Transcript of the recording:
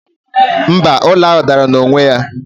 mba, ụlọ ahụ dara n'onwe ya